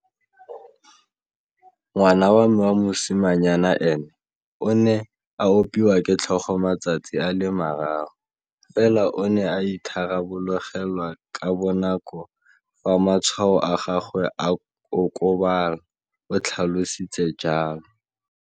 Ngwana wa me wa mosimanyana ene o ne a opiwa ke tlhogo matsatsi a le mararo, fela o ne a itharabologelwa ka bonako fa matshwao a gagwe a okobala, o tlhalositse jalo.